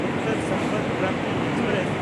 Uttar Sampark Kranti express